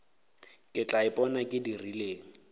ke tla ipona ke dirileng